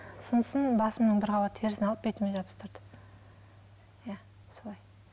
сосын басымның бір қабат терісін алып бетіме жабыстырды иә солай